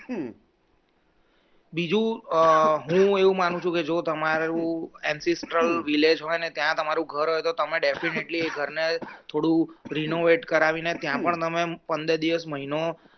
બીજું હું એવું માનું છું કે જો તમારું ancestral village હોય ને ત્યાં તમારું ઘર હોય તો તમે definitely ઘરનું થોડું renovate કરાવીને ત્યાં પણ તમે પંદર દિવસ મહિનો